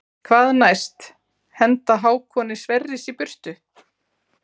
Hvað næst henda Hákoni Sverris í burtu?